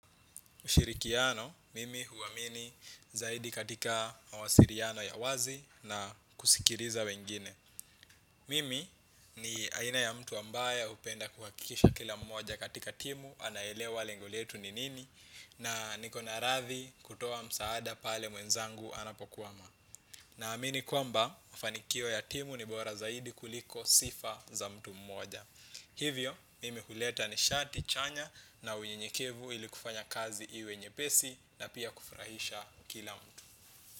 Ushirikiano, mimi huu amini zaidi katika awasiliano ya wazi na kusikiliza wengine. Mimi ni aina ya mtu ambaye hupenda kuhakikisha kila mmoja katika timu anaelewa lengo letu ni nini na niko radhi kutoa msaada pale mwenzangu anapokwama. Na amini kwamba fanikio ya timu ni bora zaidi kuliko sifa za mtu mmoja. Hivyo mimi huleta nishati chanya na unyenyekevu ili kufanya kazi iwe nyepesi ili kufurahisha kila mtu.